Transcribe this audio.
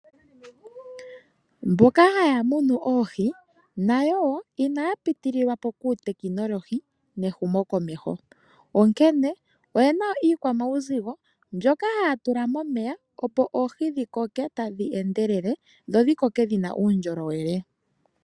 Mboka haya munu oohi, nayo wo inaya pitililwapo kuutekinolohi nehumokomeho. Onkene, oye na wo uukwamauzigo mbyoka haya tula momeya opo oohi dhikoke tadhi endelele dho dhikoke dhina uundjolowele.